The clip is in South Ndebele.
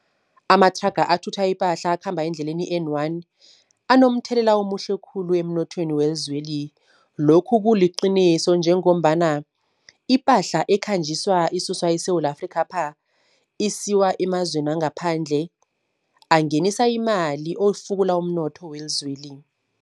Amathraga athutha ipahla akhamba endleleni i-N one, anomthelela omuhle khulu emnothweni welizweli. Lokhu kuliqiniso, njengombana ipahla ekhanjiswa isuswa eSewula Afrikhapha isiwa emazweni wangaphandle, angenisa imali ofukula umnotho welizweli.